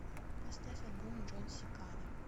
поставь альбом джон секада